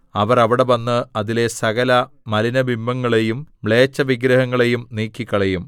അവർ അവിടെ വന്ന് അതിലെ സകല മലിനബിംബങ്ങളെയും മ്ലേച്ഛവിഗ്രഹങ്ങളെയും നീക്കിക്കളയും